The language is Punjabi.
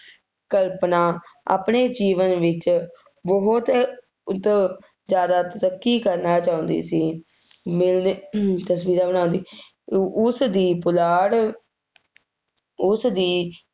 ਕਲਪਨਾ ਆਪਣੇ ਜੀਵਨ ਵਿੱਚ ਬਹੁਤ ਉਤੋਂ ਜ਼ਿਆਦਾ ਤਰੱਕੀ ਕਰਨਾ ਚਾਹੁੰਦੀ ਸੀ। ਤਸਵੀਰਾਂ ਬਣਾਉਂਦੀ, ਉਸਦੀ ਪੁਲਾੜ ਉਸਦੀ